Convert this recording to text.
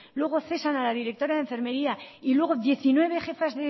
luego cesan a la directora de de enfermería y luego diecinueve jefas